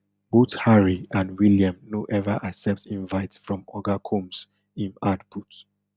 both harry and william no ever accept invite from oga combs im add put